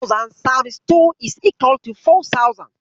Two thousand times two is equal to four thousand.